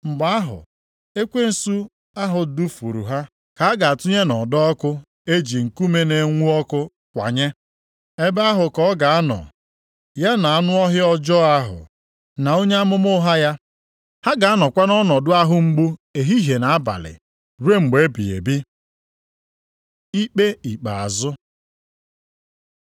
Mgbe ahụ, ekwensu ahụ dufuru ha ka a ga-atụnye nʼọdọ ọkụ e ji nkume na-enwu ọkụ kwanye. Ebe ahụ ka ọ ga-anọ, ya na anụ ọhịa ọjọọ ahụ, na onye amụma ụgha ya. Ha ga-anọkwa nʼọnọdụ ahụ mgbu ehihie na abalị ruo mgbe ebighị ebi. Ikpe Ikpeazụ